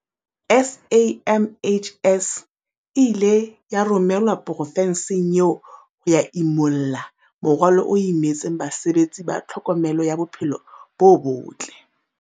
SAMHS e ile ya romelwa profenseng eo ho ya imulla morwalo o imetseng basebetsi ba tlhokomelo ya bophelo bo botle.